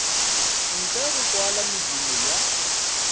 ntle go kwala medumo ya